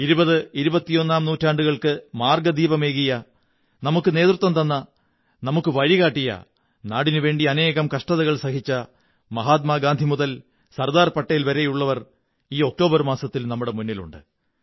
ഇരുപത്ഇരുപത്തിയൊന്നാം നൂറ്റാണ്ടുകള്ക്ക് മാര്ഗ്ഗ ദീപമേകിയ നമുക്കു നേതൃത്വം തന്ന നമുക്കു വഴികാട്ടിയ നാടിനുവേണ്ടി അനേകം കഷ്ടതകൾ സഹിച്ച മഹാത്മാ ഗാന്ധി മുതൽ സര്ദാടർ പട്ടേൽ വരെയുള്ളവർ ഈ ഒക്ടോബർ മാസത്തിൽ നമ്മുടെ മുന്നിലുണ്ട്